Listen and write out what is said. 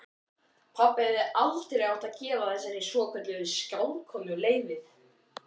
Pabbi hefði aldrei átt að gefa þessari svokölluðu skáldkonu leyfið.